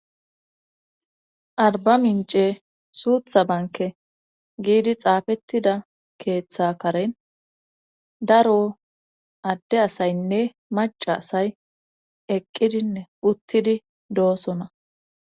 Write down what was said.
arba minche suutha banke giidi xaafettida keeththa karen daro adde asaynne maca asay eqqidinne uttidi doosona